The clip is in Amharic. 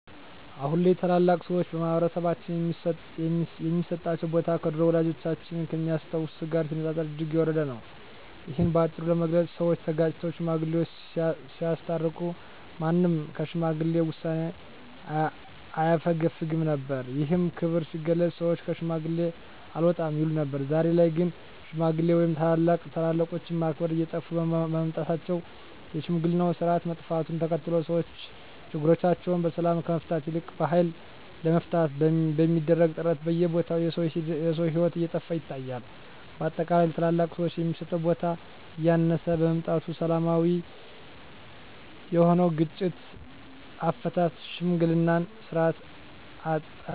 አሁን ላይ ታላላቅ ሰዎች በማህበረሰባችን ሚሰጣቸው ቦታ ከድሮው ወላጆቻችን ከሚያስታውሱት ጋር ሲነጻጸር እጅግ የወረደ ነው። እሂን በአጭሩ ለመግለጽ ሰወች ተጋጭተው ሽማግሌወች ሲያስታርቁ ማንም ከሽማግሌ ውሳኔ አያፈገፍግም ነበር። ይህም ክብር ሲገለጽ ሰወች ከሽማግሌ አልወጣም ይሉ ነበር። ዛሬ ላይ ግን ሽማግሌ ወይም ታላላቆችን ማክበር እየጠፋ በመምጣቱ የሽምግልናው ስርአት መጥፋቱን ተከትሎ ሰወች ችግሮቻቸውን በሰላም ከመፍታት ይልቅ በሀይል ለመፍታት በሚደረግ ጥረት በየቦታው የሰው ሂወት እየጠፋ ይታያል። በአጠቃላይ ለታላላቅ ሰወች የሚሰጠው ቦታ እያነሰ በመምጣቱ ሰላማዊ የሆነውን የግጭት አፈታት የሽምግልናን ስርአት አጠናል።